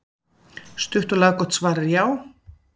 Stutt og laggott svar er já.